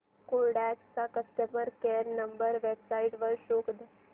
Kodak चा customer care number website वर शोध